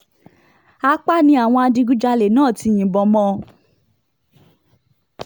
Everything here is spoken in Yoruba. apá ni àwọn adigunjalè náà ti yìnbọn mọ́ ọn